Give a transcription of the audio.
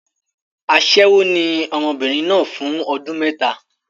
Aṣẹ́wó ni ọmọbìnrin náà fún ọdún mẹ́ta.